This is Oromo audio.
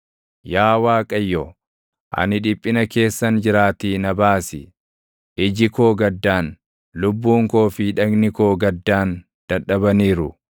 Yaa Waaqayyo, ani dhiphina keessan jiraatii na baasi; iji koo gaddaan, lubbuun koo fi dhagni koo gaddaan dadhabaniiru.